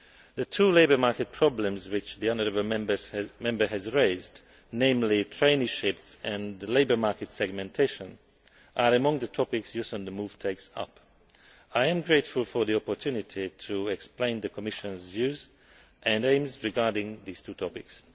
The two labour market problems which the honourable Member has raised, namely, traineeships and labour market segmentation, are among the topics Youth on the move' takes up. I am grateful for the opportunity to explain the Commission's views and aims regarding these two topics.